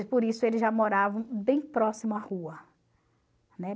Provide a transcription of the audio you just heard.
E por isso eles já moravam bem próximo à rua.